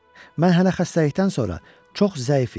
Mən hələ xəstəlikdən sonra çox zəif idim.